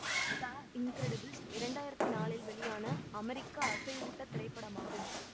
த Incredibles இரண்டு ஆயிரத்தி நான்கில் வெளியான அமெரிக்க அசைவூட்டத் திரைப்படமாகும்